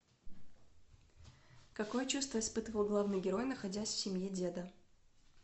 какое чувство испытывал главный герой находясь в семье деда